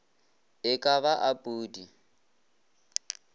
e ka ba a pudi